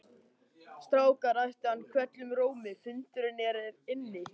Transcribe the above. Strákar æpti hann hvellum rómi, fundurinn er hér inni